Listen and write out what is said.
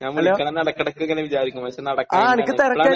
ഞാൻ വിളിക്കണമെന്ന് ഇടക്ക് ഇടക്ക് ഇങ്ങനെ വിചാരിക്കും. പക്ഷെ നടക്കൂല. തിരക്കാണ്.